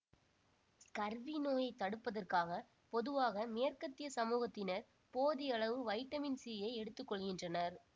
scurvy நோயை தடுப்பதற்காக பொதுவாக மேற்கத்திய சமூகத்தினர் போதியளவு வைட்டமின் சியை எடுத்துக்கொள்கின்றனர்